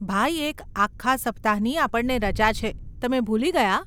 ભાઈ, એક આખા સપ્તાહની આપણને રજા છે, તમે ભૂલી ગયા?